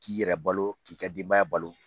K'i yɛrɛ balo k'i ka denbaya balo.